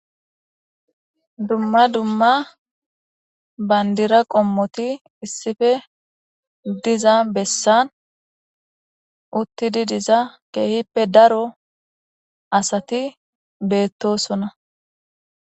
Dumma dumma banddira qommoti issippe diiza bessan uttidi diza kehippe daaro asati betosona.